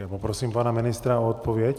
Já poprosím pana ministra o odpověď.